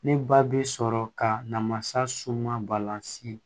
Ne ba bi sɔrɔ ka na masa suma balan se